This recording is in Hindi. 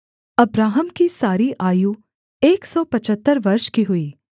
अब्राहम की सारी आयु एक सौ पचहत्तर वर्ष की हुई